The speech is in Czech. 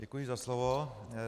Děkuji za slovo.